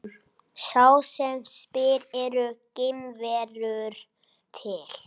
Sá sem spyr Eru geimverur til?